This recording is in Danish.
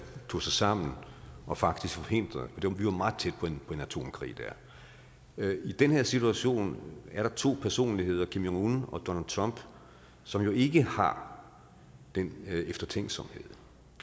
tog sig sammen og faktisk forhindrede det for vi var meget tæt på en atomkrig der i den her situation er der to personligheder kim jong un og donald trump som jo ikke har den eftertænksomhed